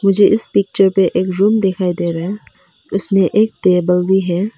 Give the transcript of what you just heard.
मुझे इस पिक्चर पे एक रूम दिखाई दे रहा है उसमें एक टेबल भी है।